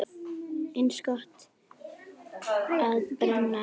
Eins gott að brenna ekki!